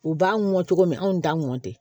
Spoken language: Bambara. U b'an mɔ cogo min anw t'a mɔn ten